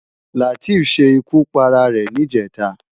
Lateef ṣé ikú párá ré nijètá